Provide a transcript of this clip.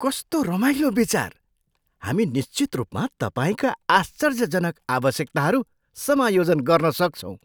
कस्तो रमाइलो विचार! हामी निश्चित रूपमा तपाईँका आश्चर्यजनक आवश्यकताहरू समायोजन गर्न सक्छौँ।